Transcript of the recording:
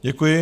Děkuji.